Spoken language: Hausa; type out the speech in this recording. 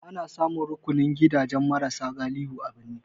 Ana samun rukunin gidajen mara sa galihu a birni.